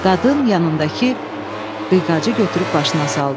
Qadın yanındakı qıyqacı götürüb başına saldı.